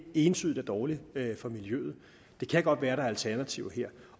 entydigt er dårligt for miljøet det kan godt være der er alternativer her